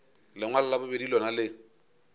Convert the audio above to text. lengwalo la bobedi lona le